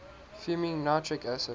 fuming nitric acid